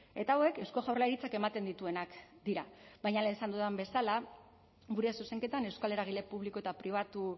eta hauek eusko jaurlaritzak ematen dituenak dira baina lehen esan dudan bezala gure zuzenketan euskal eragile publiko eta pribatu